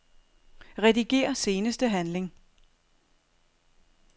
Rediger seneste handling.